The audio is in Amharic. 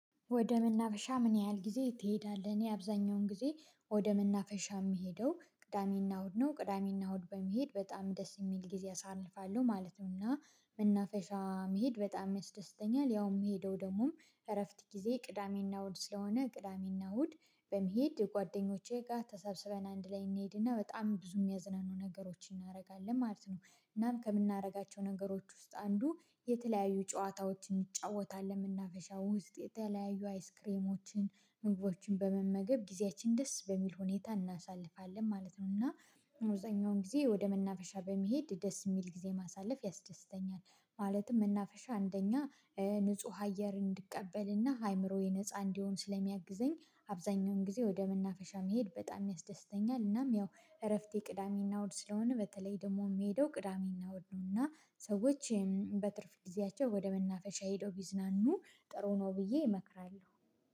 ወደ መናፈሻ ምን ያህል ጊዜ ትሄዳለህ? እኔ አብዛኛውን ጊዜ ወደ መናፈሻ የምሄደው ቅዳሜና እሁድ ነው ቅዳሜና እሁድ በመሄድ በጣም ደስ የሚል ጊዜ አሳልፋለሁ ማለት ነው። እና መናፈሻ መሄድ በጣም ያስደስተኛል። ያውም የሄደው ደግሞ እረፍት ጊዜ ቅዳሜና እሁድ ስለሆነ ቅዳሜና እሁድ። በመሄድ ጓደኞቼ ጋር ተሰብስበን አንድ ላይ እንሄድና በጣም ብዙ የሚያዝናኑ ነገሮችን እናደርጋለን ማለት ነው። እናም ከምናደርጋቸው ነገሮች ውስጥ አንዱ የተለያዩ ጨዋታዎችን እንጫወታለን። መናፈሻ ውስጥ የተለያዩ አይስክሬሞችን ምግቦችን በመመገብ ጊዜያችን ደስ በሚል ሁኔታ እናሳልፋለን ማለት ነው። እና አብዛኛውን ጊዜ ወደ መናፈሻ በመሄድ ደስ የሚል ጊዜ ማሳለፍ ያስደስተኛል። ማለትም መናፈሻ አንደኛ ንጹህ አየር እንድቀበልና አእምሮዬ ነፃ እንዲሆን ስለሚያግዘኝ አብዛኛውን ጊዜ ወደ መናፈሻ መሄድ በጣም ያስደስተኛል። እናም ያው እረፍቴ ቅዳሜና እሁድ ስለሆነ በተለይ ደግሞ የምሄደው ቅዳሜና እሁድ ነው። እና ሰዎችም በትርፍ ጊዜያቸው ወደ መናፈሻ ሄደው ቢዝናኑ ጥሩ ነው ብዬ እመክራለሁ።